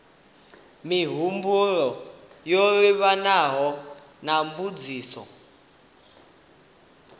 mihumbulo yo livhanaho na mbudziso